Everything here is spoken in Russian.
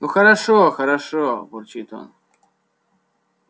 ну хорошо хорошо бурчит он